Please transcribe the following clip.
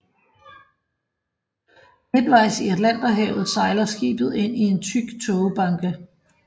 Midtvejs i Atlanterhavet sejler skibet ind i en tyk tågebanke